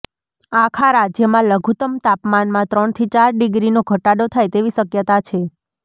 આખા રાજ્યમાં લઘુત્તમ તાપમાનમાં ત્રણથી ચાર ડીગ્રીનો ઘટાડો થાય તેવી શક્યતા છે